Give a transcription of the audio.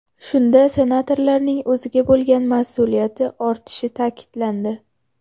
Shunda senatorlarning o‘ziga bo‘lgan mas’uliyati ortishi ta’kidlandi.